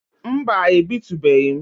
Mba ebitubeghi m